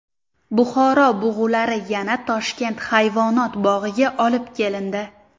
Buxoro bug‘ulari yana Toshkent hayvonot bog‘iga olib kelindi.